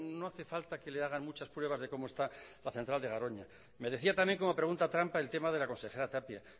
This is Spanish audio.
no hace falta que le hagan muchas pruebas de cómo está la central de garoña me decía también como pregunta trampa el tema de la consejera tapia